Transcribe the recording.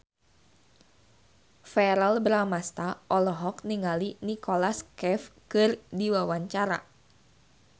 Verrell Bramastra olohok ningali Nicholas Cafe keur diwawancara